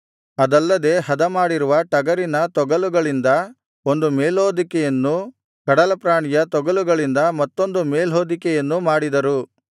ಅದಲ್ಲದೆ ಹದಮಾಡಿರುವ ಟಗರಿನ ತೊಗಲುಗಳಿಂದ ಒಂದು ಮೇಲ್ಹೊದಿಕೆಯನ್ನೂ ಕಡಲಪ್ರಾಣಿಯ ತೊಗಲುಗಳಿಂದ ಮತ್ತೊಂದು ಮೇಲ್ಹೊದಿಕೆಯನ್ನೂ ಮಾಡಿದರು